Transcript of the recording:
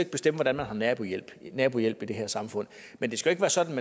bestemme hvordan man har nabohjælp nabohjælp i det her samfund men det skal ikke være sådan